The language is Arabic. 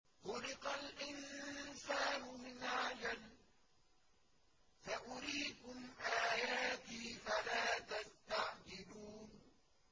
خُلِقَ الْإِنسَانُ مِنْ عَجَلٍ ۚ سَأُرِيكُمْ آيَاتِي فَلَا تَسْتَعْجِلُونِ